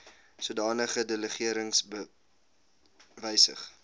sodanige delegerings wysig